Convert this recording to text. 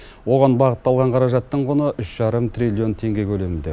оған бағытталған қаражаттың құны үш жарым триллион теңге көлемінде